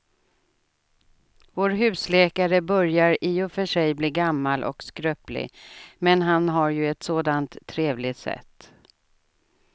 Vår husläkare börjar i och för sig bli gammal och skröplig, men han har ju ett sådant trevligt sätt!